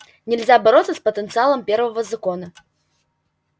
нельзя бороться с потенциалом первого закона